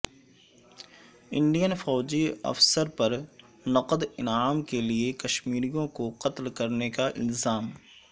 Indian فوجی افسر پر نقد انعام کے لیے کشمیریوں کو قتل کرنے کا الزام